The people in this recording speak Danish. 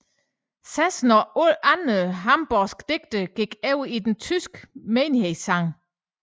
Zesen og andre hamborgske digtere gik over i den tyske menighedssang